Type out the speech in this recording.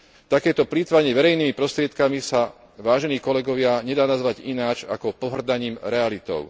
Takéto plytvanie verejnými prostriedkami sa, vážení kolegovia, nedá nazvať ináč ako pohŕdaním realitou.